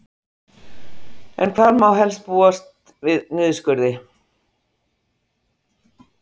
En hvar má helst búast við niðurskurði?